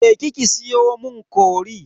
Je ki ki siyo mun cori.